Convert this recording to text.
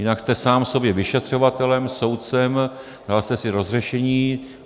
Jinak jste sám sobě vyšetřovatelem, soudcem, dal jste si rozhřešení.